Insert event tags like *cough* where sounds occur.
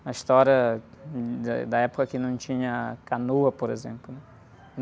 Uma história *unintelligible* de, da época que não tinha canoa, por exemplo, né?